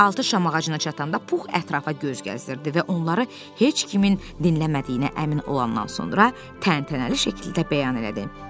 Altı şam ağacına çatanda Pux ətrafa göz gəzdirdi və onları heç kimin dinləmədiyinə əmin olandan sonra təntənəli şəkildə bəyan elədi.